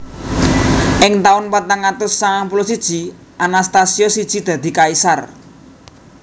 Ing taun patang atus sangang puluh siji Anastasius siji dadi kaisar